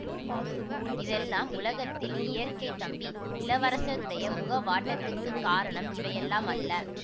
இதெல்லாம் உலகத்தில் இயற்கை தம்பி இளவரசருடைய முகவாட்டத்துக்குக் காரணம் இவையெல்லாம் அல்ல